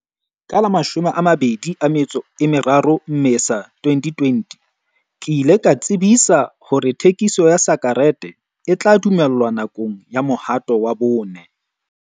Ka la 23 Mmesa 2020, ke ile ka tsebisa hore thekiso ya sa-kerete e tla dumellwa nakong ya mohato wa bone.